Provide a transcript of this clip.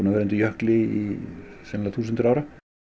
vera undir jökli sennilega í þúsundir ára